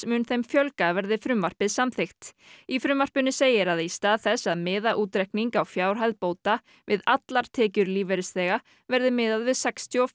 mun þeim fjölga verði frumvarpið samþykkt í frumvarpinu segir að í stað þess að miða útreikning á fjárhæð bóta við allar tekjur lífeyrisþega verði miðað við sextíu og